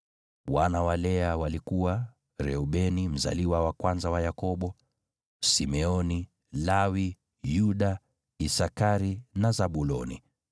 Wana wa Lea walikuwa: Reubeni mzaliwa wa kwanza wa Yakobo, Simeoni, Lawi, Yuda, Isakari na Zabuloni.